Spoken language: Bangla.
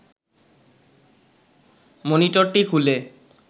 মনিটরটি খুলে